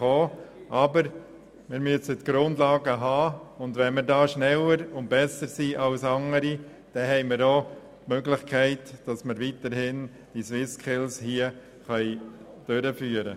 Aber wir müssen die Grundlagen dafür schaffen, und wenn wir in dieser Beziehung schneller und besser als andere sind, haben wir auch die Möglichkeit, weiterhin die SwissSkills hier durchführen zu können.